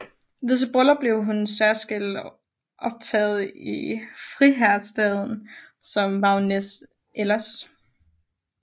Ved sit bryllup blev hun særskilt optaget i friherrestanden som baronesse Elers